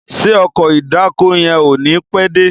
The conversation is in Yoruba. Ṣe Ọkọ̀ ìdákoní yén o ní pé dé?